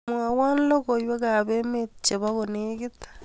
Mwowo logoiwekab emet chebo kolekit